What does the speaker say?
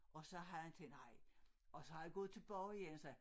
Og så havde han tænkt nej og så havde han gået tilbage og sagde